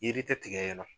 Yiri tɛ tigɛ yen nɔ